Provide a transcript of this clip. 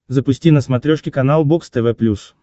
запусти на смотрешке канал бокс тв плюс